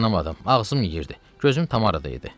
Ağzım yeyirdi, gözüm tam arada idi.